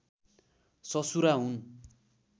ससुरा हुन्